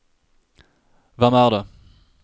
hvem er det